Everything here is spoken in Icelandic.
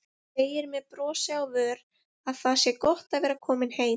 Segir með brosi á vör að það sé gott að vera komin heim.